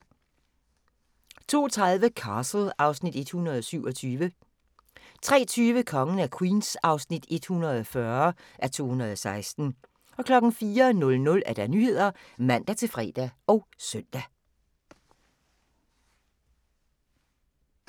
02:30: Castle (Afs. 127) 03:20: Kongen af Queens (140:216) 04:00: Nyhederne (man-fre og søn)